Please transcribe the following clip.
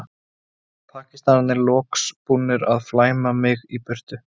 Pakistanarnir loks búnir að flæma mig í burtu.